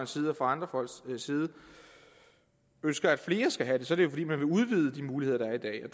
side og fra andre folks side ønsker at flere skal have det så er det jo fordi man vil udvide de muligheder der er i dag